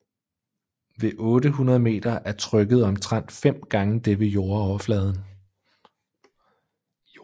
Ved 800 meter er trykket omtrent fem gange det ved jordoverfladen